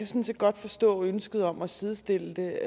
set godt forstå ønsket om at sidestille det